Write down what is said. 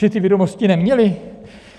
Že ty vědomosti neměli?